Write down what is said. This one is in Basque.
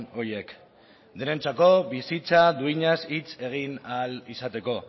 horiek denentzako bizitza duinaz hitz egin ahal izateko